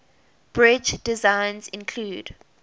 bridge designs include